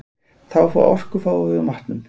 Þá orku fáum við úr matnum.